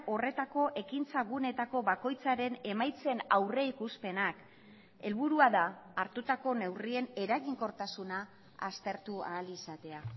horretako ekintza guneetako bakoitzaren emaitzen aurrikuspenak helburua da hartutako neurrien eraginkortasuna aztertu ahal izatea